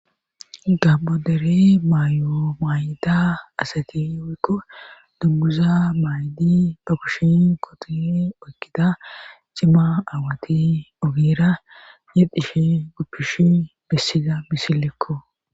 abodere maayo maay7ida asati woykko dugguza maayddi pakushin kotin oykida cima aawati ogeera yedhishe guppishi bessida misilekko